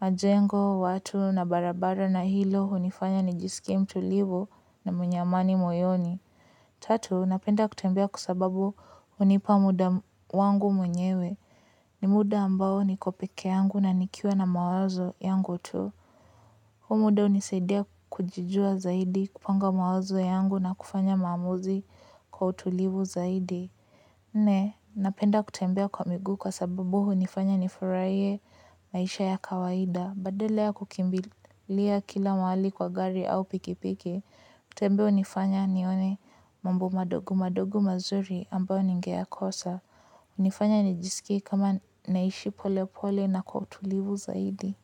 majengo, watu na barabara na hilo hunifanya nijisikie mtulivu na mwenye amani moyoni. Tatu, napenda kutembea kwa sababu hunipa muda wangu mwenyewe. Ni muda ambao niko pekee yangu na nikiwa na mawazo yangu tu. Huu muda hunisaidia kujijua zaidi, kupanga mawazo yangu na kufanya maamuzi kwa utulivu zaidi. Nne, napenda kutembea kwa miguu kwa sababu hunifanya nifurahie maisha ya kawaida. Badala ya kukimbilia kila mahali kwa gari au pikipiki, kutembea hunifanya nione mambo madogo madogi mazuri ambao ningeyakosa. Hunifanya nijisikie kama naishi pole pole kwa utulivu zaidi.